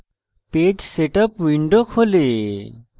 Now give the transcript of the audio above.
page setup window খোলে